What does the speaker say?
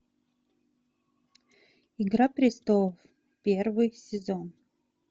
игра престолов первый сезон